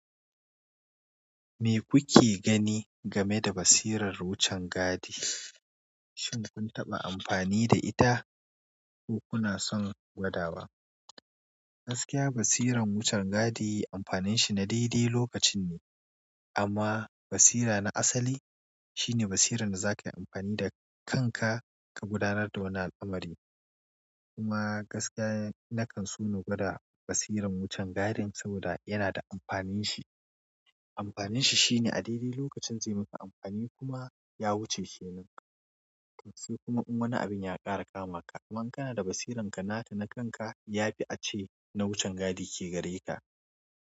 Me kuke gani game da basirar wucin gadi? Shin kun taɓa amfani da ita ko kuna son gwada wa? Gaskiya basirar wucin gadi amfanin shi na daidai lokacin ne amma basira na asali shine basira da zakayi amfani da kanka ka gudanar da wani al'amari. Kuma gaskiya na kan so na gwada basirar wucin gadi saboda yana da amfanin shi. Amfanin shi shine a daidai lokacin zai maka amfani kuma ya wuce ke nan. Sai kuma wani abin ya ƙara kama ka, kaman kana da basirarka nata na kanka yafi ace na wucin gadi ke gare ka.